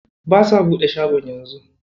Ba sa buɗe shago yanzu.